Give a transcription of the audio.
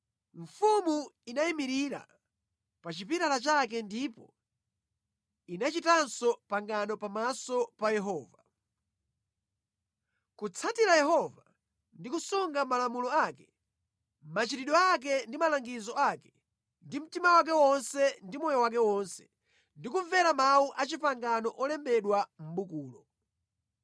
Mfumu inayimirira pa chipilala chake ndipo inachitanso pangano pamaso pa Yehova: kutsatira Yehova, ndi kusunga malamulo ake, machitidwe ake ndi malangizo ake ndi mtima wake wonse ndi moyo wake wonse, ndi kumvera mawu a pangano olembedwa mʼbukulo.